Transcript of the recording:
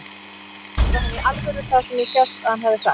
Sagði hann í alvöru það sem ég hélt að hann hefði sagt?